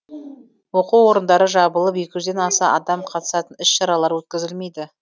оқу орындары жабылып екі жүзден аса адам қатысатын іс шаралар өткізілмейді